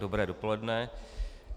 Dobré dopoledne.